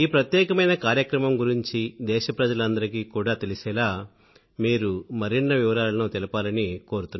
ఈ ప్రత్యేకమైన కార్యక్రమం గురించి దేశప్రజలందరికీ కూడా తెలుసేలా మీరు మరిన్ని వివరాలను తెలపండి